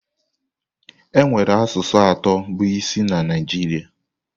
Enwere asụsụ atọ bụ isi na Naijiria.